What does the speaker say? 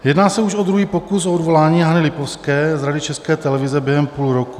Jedná se už o druhý pokus o odvolání Hany Lipovské z Rady České televize během půl roku.